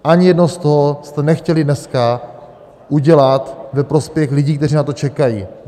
Ani jedno z toho jste nechtěli dneska udělat ve prospěch lidí, kteří na to čekají.